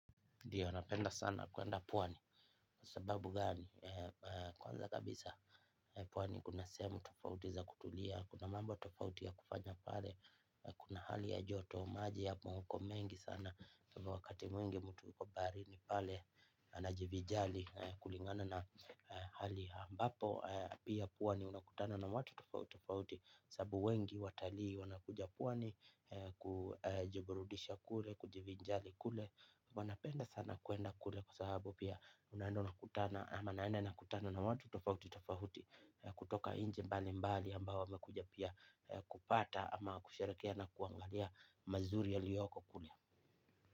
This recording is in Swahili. Ndiyo, anapenda sana kwenda pwani. Kwa sababu gani, kwanza kabisa pwani kuna sehemu tofautiza kutulia, kuna mambo tofauti ya kufanya pale, kuna hali ya joto, maji ya moko mengi sana, kwahivyo wakati mwingi mtu yuko barini pale, anajivijari kulingana na hali ambapo. Pia pwani unakutana na watu tofauti tofauti. Sababu wengi watalii wanakuja pwani kujiburudisha kule, kujivinjari kule. Wanapenda sana kwenda kule kwa sahabu pia unaenda unakutana ama naenda nakutana na watu tofauti tofauti kutoka nchi mbali mbali ambao wamekujapia kupata ama kusherehekea na kuangalia mazuri ya liyoko kule.